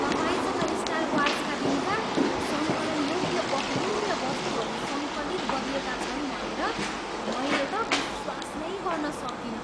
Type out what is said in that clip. तपाईँसँग स्टार वार्सका दिनका सङ्कलनयोग्य बहुमूल्य वस्तुहरू सङ्कलित गरिएका छन् भनेर मैले त विश्वास नै गर्न सकिनँ।